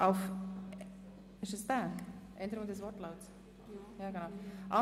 Dort steht in Artikel 92 Absatz 4: